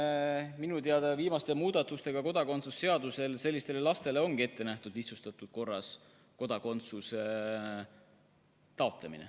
Minu teada kodakondsuse seaduse viimaste muudatustega ongi sellistele lastele ette nähtud lihtsustatud korras kodakondsuse taotlemine.